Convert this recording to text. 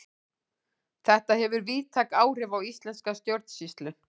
Þetta hefur víðtæk áhrif á íslenska stjórnsýslu.